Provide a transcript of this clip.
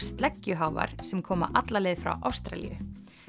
sleggjuháfar sem koma alla leið frá Ástralíu